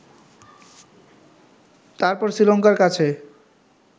তারপর শ্রীলঙ্কার কাছে